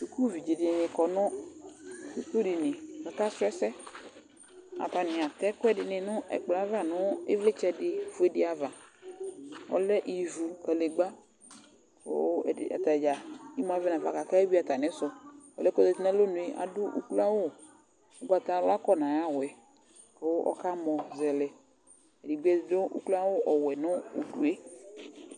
sukuvi dɩnɩ za nʊ suku dini kʊ aka sʊ ɛsɛ, atanɩ atɛ ɛkuɛdɩnɩ nʊ ɛkplɔ yɛ ava, nʊ ivlitsɛdɩ fue dɩ ava, kadegbǝ, kʊ atadza imu avɛ nafa, kʊ akewuia atamisu, ɔlu yɛ kʊ ozati nʊ alonu yɛ adʊ adʊ oklo awu ugbatawla kɔ nʊ ayʊ awu yɛ, kʊ ɔkamɔ zɛlɛ, ɛdɩbɩ adʊ oklo awu ɔwɛ nʊ udu yɛ